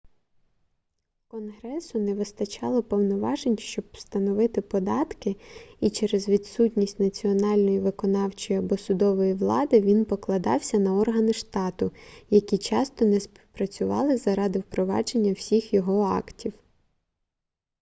конгресу не вистачало повноважень щоб встановити податки і через відсутність національної виконавчої або судової влади він покладався на органи штату які часто не співпрацювали заради впровадження всіх його актів